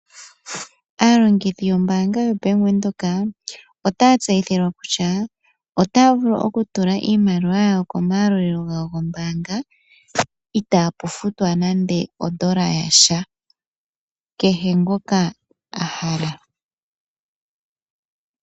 Aalongithi yombaanga yo Bank Widhoek, otaya tseyithilwa kutya, otaya vulu okutula iimaliwa yawo ko mayalulilo gawo gombaanga itapu futwa nande ondola yasha. Kehe ngoka ahala.